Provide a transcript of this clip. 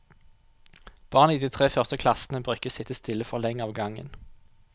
Barn i de tre første klassene bør ikke sitte stille for lenge av gangen.